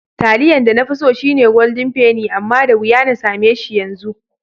Taliyan da nafi so shine Golden penny amma da wuya na sameshi yanzu.